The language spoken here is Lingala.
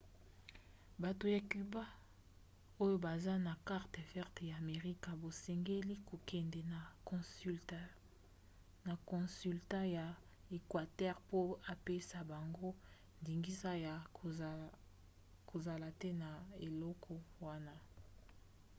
bato ya cuba oyo baza na carte verte ya amerika basengeli kokende na consulat ya equateur mpo apesa bango ndingisa ya kozala te na eloko wana